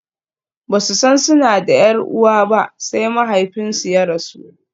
Ba su san suna da 'yar uwa ba sai mahaifinsu ya rasu.